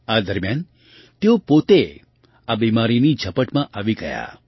આ દરમિયાન તેઓ પોતે આ બીમારીની ઝપટમાં આવી ગયા